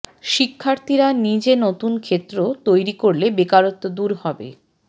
শিক্ষার্থীরা নিজে নতুন ক্ষেত্র তৈরি করলে বেকারত্ব দূর হবে